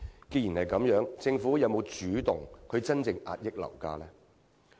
既然如此，政府是否有動力去真正遏抑樓價？